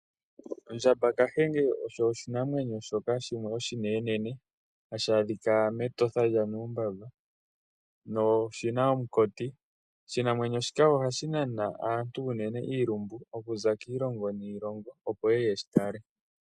Ondjamba Kahenge osho oshinamwenyo shoka shimwe oshinenenene hashi adhika mEtosha lyanuumbamba noshina omukoti. Oshinamwenyo shika nana aantu unene iilumbu okuza kiilongo niilongo opo yeye yeshitale.